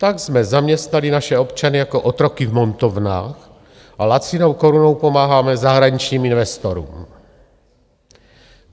Tak jsme zaměstnali naše občany jako otroky v montovnách a lacinou korunou pomáháme zahraničním investorům.